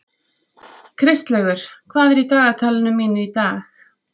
Kristlaugur, hvað er í dagatalinu mínu í dag?